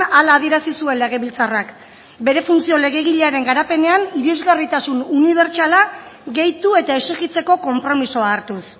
hala adierazi zuen legebiltzarrak bere funtzio legegilearen garapenean irisgarritasun unibertsala gehitu eta exijitzeko konpromisoa hartuz